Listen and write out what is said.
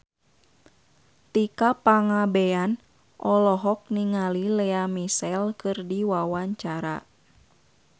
Tika Pangabean olohok ningali Lea Michele keur diwawancara